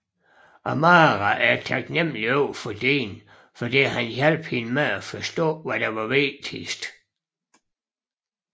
Amara er taknemmelig overfor Dean fordi han hjalp hende med at forstå hvad der er vigtigt